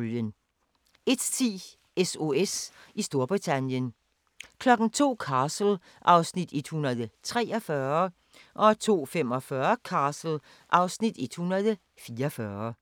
01:10: SOS i Storbritannien 02:00: Castle (Afs. 143) 02:45: Castle (Afs. 144)